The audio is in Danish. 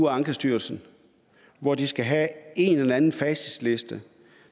ankestyrelsen og de skal have en eller anden facitliste